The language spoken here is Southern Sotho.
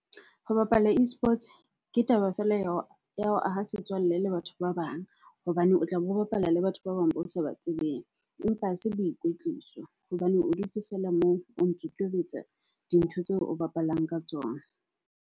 Ho bapala eSports ke taba feela ya ho ho aha setswalle le batho ba bang hobane o tlabe o bapala le batho ba bang bo sa ba tsebeng. Empa ha se boikwetliso hobane o dutse feela moo o ntso tobetsa dintho tseo o bapalang ka tsona.